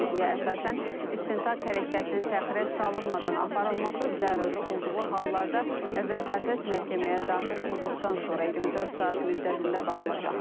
Dəyişikliyə əsasən istintaq hərəkətinin təxirə salınmadan aparılması zəruri olduğu hallarda vəsatət məhkəməyə daxil olduqdan sonra 24 saat müddətində baxılacaq.